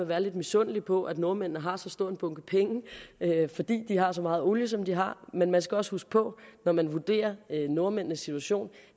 være lidt misundelig på at nordmændene har så stor en bunke penge fordi de har så meget olie som de har men man skal også huske på når man vurderer nordmændenes situation